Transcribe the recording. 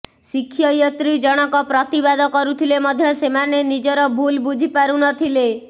ଶିକ୍ଷୟିତ୍ରୀ ଜଣକ ପ୍ରତିବାଦ କରୁଥିଲେ ମଧ୍ୟ ସେମାନେ ନିଜର ଭୁଲ୍ ବୁଝି ପାରୁନଥିଲେ